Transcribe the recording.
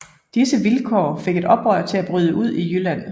Disse vilkår fik et oprør til at bryde ud i Jylland